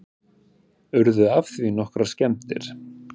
Urðu af því nokkrar skemmdir